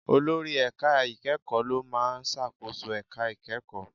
Olórí ẹ̀ka ìkẹ́kọ̀ọ́ ló máa ń ṣàkóso ẹ̀ka ìkẹ́kọ̀ọ́.